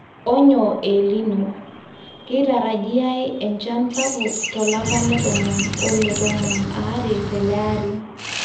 onyo e elnino, keitarajiaai enchan sapuk tolapa letomon o oletomon aare tele ari